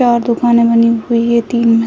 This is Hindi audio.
चार दुकानें बनी हुई है तीन में --